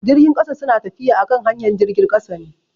Jirgin kasa su na tafiya akan hanyar jirgin kasa ne.